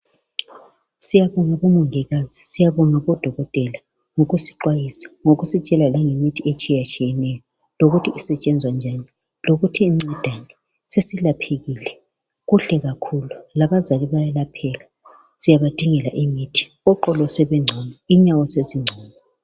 Siyabonga bomongikazi, siyabonga bodokotela ngosixwayisa ngokusitshela langemiti etshiyatshiyeneyo, lokuthi isetshenzwa njani, lokuthi igcedani, sesilaphekile kuhle kahulu. Labazali bayalapheka siyabadingela imiti, oqolo sebegcono inyawo sezigcono.